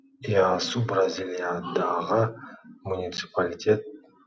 иасу бразилиядағы муниципалитет